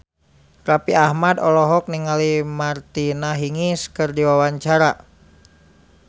Raffi Ahmad olohok ningali Martina Hingis keur diwawancara